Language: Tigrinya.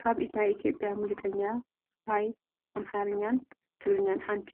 ካብ ናይ ኢ/ያ ሙዚቀኛት ሃይ ኣምሓርኛን ትግርኛን ሓንቲ